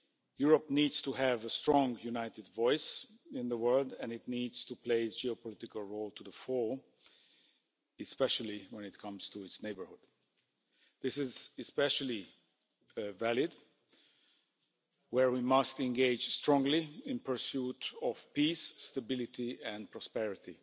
Europe needs to have a strong united voice in the world and it needs to play its geopolitical role to the fore, especially when it comes to its neighbourhood. This is especially valid where we must engage strongly in pursuit of peace, stability and prosperity.